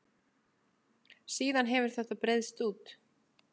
Síðan hefur þetta breiðst út.